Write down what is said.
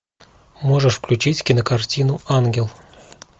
можешь включить кинокартину ангел